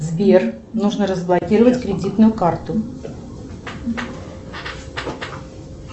сбер нужно разблокировать кредитную карту